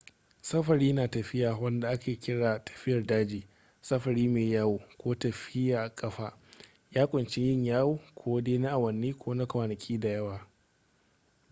safari na tafiya wanda ake kira tafiyar daji” safari maiyawo” ko tafiya ƙafa” ya ƙunshi yin yawo ko dai na awanni ko kwanaki da yawa